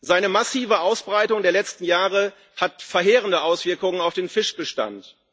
Seine massive Ausbreitung in den letzten Jahren hat verheerende Auswirkungen auf den Fischbestand.